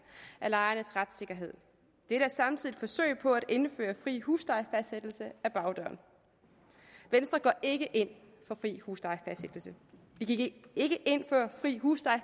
af lejernes retssikkerhed det er samtidig et forsøg på at indføre fri huslejefastsættelse ad bagdøren venstre går ikke ind for fri huslejefastsættelse vi gik ikke ind i